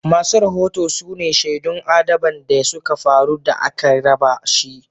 Masu rahoto su ne shaidun adaban da suka faru da a ke raba shi.